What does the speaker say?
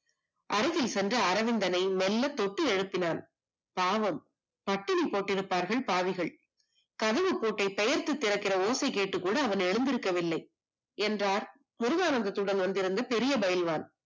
அருகில் சென்ற அரவிந்தனை மெல்லத் தொட்டு எழுப்பினான் பாவம் பட்டினி போட்டிருப்பார்கள் பாவிகள் கதவு பூட்டை பெயருக்கு திறக்கின்ற ஓசை கேட்டு கூட எந்திரிக்கவில்லை என்றால் முருகானந்தம் வந்திருந்த பெரிய பைல்வான்